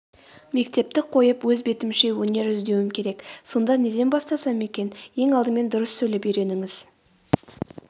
мектепті қойып өз бетімше өнер іздеуім керек сонда неден бастасам екен.ең алдымен дұрыс сөйлеп үйреніңіз